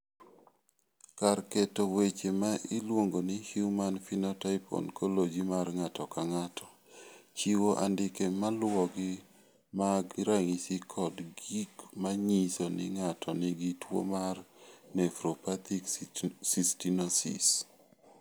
Kar keto weche ma iluongo ni Human Phenotype Ontology mar ng�ato ka ng�ato chiwo andike ma luwogi mag ranyisi kod gik ma nyiso ni ng�ato nigi tuo mar Nephropathic cystinosis..